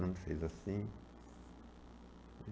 Fernando fez assim.